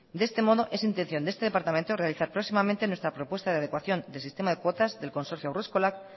de este modo es intención de este departamento realizar próximamente nuestra propuesta de adecuación de sistema de cuotas del consorcio haureskolak